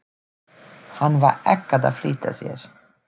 Hann var ekkert að flýta sér.